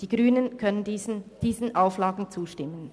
Die Grünen können diesen Auflagen zustimmen.